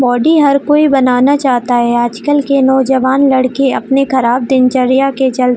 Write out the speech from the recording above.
body हर कोई बनाना चाहता है आजकल के नौजवान लड़के अपने ख़राब दिनचर्या के चलते --